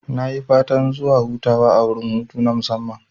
Nayi fatan zuwa hutawa a wurin hutu na musamman